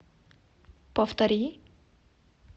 повтори